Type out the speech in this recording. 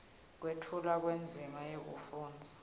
kwetfulwa kwendzima yekufundza